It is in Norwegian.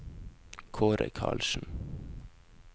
Kaare Carlsen